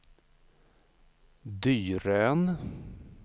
Dyrön